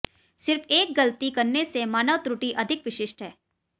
सिर्फ एक गलती करने से मानव त्रुटि अधिक विशिष्ट है